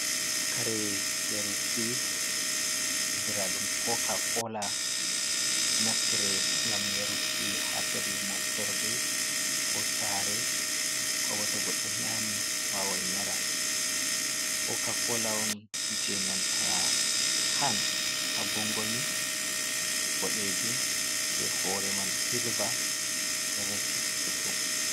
Kare yaruki andira ɗum ko ka kola ɗo naftire gam yaruki ha pelel moftorde, ko sare, ko boto goɗɗo nyami wawan yara, koka kola on jenanta kan ha gongomi boɗejum be hore man silver ɗo resi ɗuɗɗum.